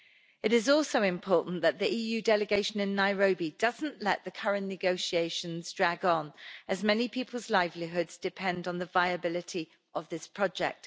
It is also important that the EU delegation in Nairobi doesn't let the current negotiations drag on, as many people's livelihoods depend on the viability of this project.